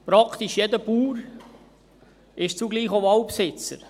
Praktisch jeder Bauer ist zugleich auch Waldbesitzer.